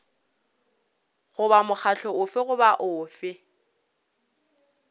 goba mokgatlo ofe goba ofe